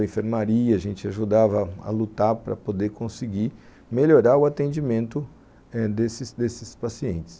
A enfermaria, a gente ajudava a lutar para poder conseguir melhorar o atendimento eh desses pacientes.